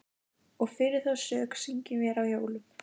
Og fyrir þá sök syngjum vér á jólum